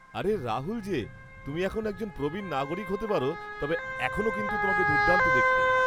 আরে রাহুল যে, তুমি এখন একজন প্রবীণ নাগরিক হতে পারো, তবে এখনও কিন্তু তোমাকে দুর্দান্ত দেখতে।